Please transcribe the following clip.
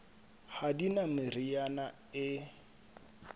ha di na meriana e